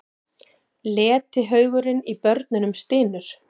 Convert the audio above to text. Letihaugurinn í börunum stynur.